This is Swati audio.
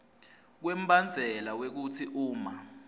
kwembandzela wekutsi uma